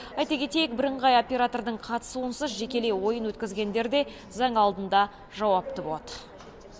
айта кетейік бірыңғай оператордың қатысуынсыз жекелей ойын өткізгендер де заң алдында жауапты болады